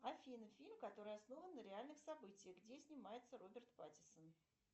афина фильм который основан на реальных событиях где снимается роберт паттинсон